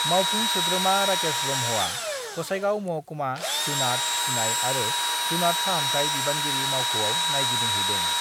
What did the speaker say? मावफुं सोद्रोमा राकेश ब्रह्मआ गसाइगाव महकुमा जुनात फिसिनाय आरो जुनात फाहामथाय बिबानगिरि मावख'याव नायगिदिंहैदों